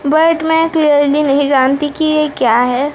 But मैं clearly नहीं जानती कि ये क्या है।